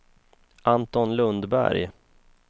Anton Lundberg